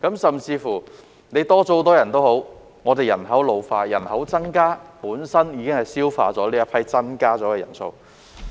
甚至乎人數有所增加，但我們人口老化、人口增加，本身已抵銷增加的人數。